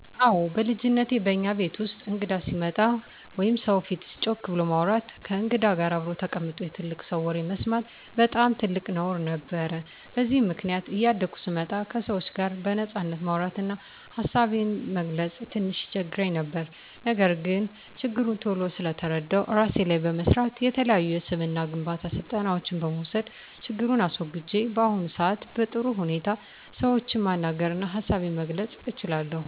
አወ በልጅነቴ በእኛ ቤት ውስጥ እንግዳ ሲመጣ ወይም ሰው ፊት ጮክ ብሎ ማውራት፣ ከእንግዳ ጋር አብሮ ተቀምጦ የትልቅ ሰው ወሬ መስማት በጣም ትልቅ ነውር ነበር። በዚህም ምክንያት እያደኩ ስመጣ ከሰዎች ጋር በነጻነት ማውራት እና ሀሳቤን መግለፅ ትንሽ ይቸግረኝ ነበር። ነገር ግን ችግሩን ቶሎ ስለተረዳሁት እራሴ ላይ በመስራት፣ የተለያዩ የስብዕና ግንባታ ስልጠናዎችን በመውሰድ ችግሩን አስወግጀው በአሁኑ ሰአት በጥሩ ሁኔታ ሰዎችን ማናገር እና ሀሳቤን መግለፅ እችላለሁ።